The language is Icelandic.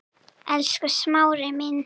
Elsku Smári minn.